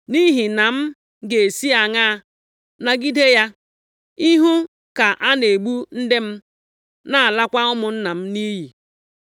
Nʼihi na m ga-esi aṅaa nagide ya, ịhụ ka a na-egbu ndị m, na-alakwa ụmụnna m nʼiyi?”